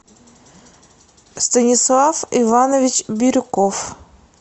станислав иванович бирюков